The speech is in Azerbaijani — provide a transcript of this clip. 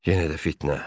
Yenə də fitnə.